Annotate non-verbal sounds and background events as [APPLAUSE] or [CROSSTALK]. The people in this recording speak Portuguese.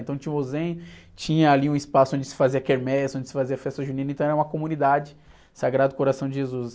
Então tinha o, [UNINTELLIGIBLE] tinha ali um espaço onde se fazia quermesse onde se fazia festa junina, então era uma comunidade, Sagrado Coração de Jesus.